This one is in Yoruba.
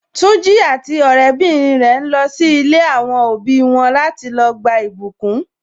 Tunji àti ọrẹ bìnrin rẹ ń lọ si ilé àwọn òbí wọn láti lọ gba ìbùkún.